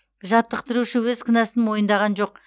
жаттықтырушы өз кінәсін мойындаған жоқ